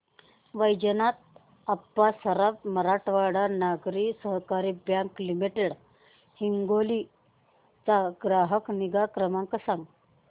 Vaijnath Appa Saraf Marathwada Nagari Sahakari bank limited Hingoli चा ग्राहक निगा क्रमांक सांगा